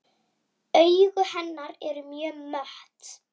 Augu hennar eru mött.